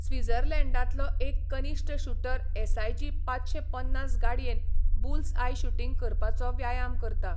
स्वित्झर्लंडांतलो एक कनिश्ट shooter S IG पांचशें पन्नास गाडयेन बुल्सआय शूटिंग करपाचो व्यायाम करता.